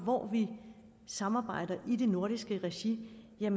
hvor vi samarbejder i det nordiske regi er